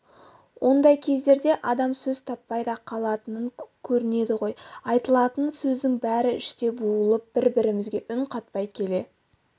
ондай кездерде адам сөз таппай да қалатын көрінеді ғой айтылатын сөздің бәрі іште булығып бір-бірімізге үн қатпай келе